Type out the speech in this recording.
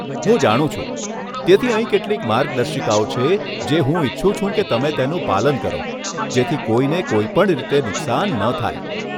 હું જાણું છું, તેથી અહીં કેટલીક માર્ગદર્શિકાઓ છે જે હું ઇચ્છું છું કે તમે તેનું પાલન કરો જેથી કોઈને કોઈ પણ રીતે નુકસાન ન થાય!